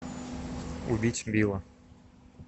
убить билла